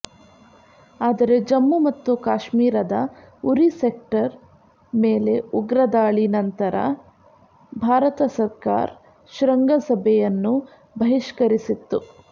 ಆದರೆ ಜಮ್ಮು ಮತ್ತು ಕಾಶ್ಮೀರದ ಉರಿ ಸೆಕ್ಟರ್ ಮೇಲೆ ಉಗ್ರ ದಾಳಿ ನಂತರ ಭಾರತ ಸಾಕರ್್ ಶೃಂಗ ಸಭೆಯನ್ನು ಬಹಿಷ್ಕರಿಸಿತ್ತು